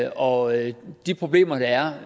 og de problemer der er